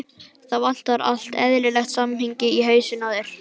Það vantar allt eðlilegt samhengi í hausinn á þér.